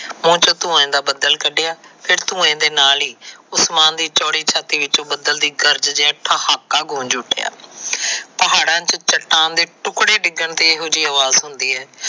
ਧੂੰਏ ਦਾ ਬੱਦਲ ਕੱਡਿਆਂ ਫਿਰ ਧੂੰਏ ਦੇ ਨਾਲ ਹੀ ਉਸਮਾਨ ਦੀ ਚੌੜੀ ਛਾਤੀ ਵਿਚੋ ਬੱਦਲ ਦੀ ਗਰਜਦਿਆਂ ਹੀ ਠਹਾਕਾ ਗੂੰਜ ਉਠਿੱਆਂ। ਪਹਾੜਾ ਚ ਚੱਟਾਨ ਦੇ ਟੁਕੜੇ ਡਿਗਣ ਦੀ ਇਹੋ ਜਿਹੀ ਅਵਾਜ਼ ਹੁੰਦੀ ਹੈ